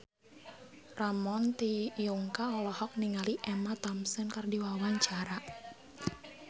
Ramon T. Yungka olohok ningali Emma Thompson keur diwawancara